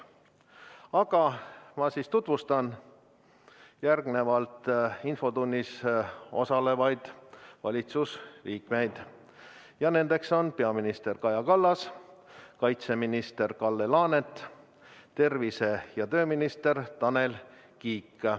Aga ma tutvustan infotunnis osalevaid valitsuse liikmeid, need on peaminister Kaja Kallas, kaitseminister Kalle Laanet ning tervise- ja tööminister Tanel Kiik.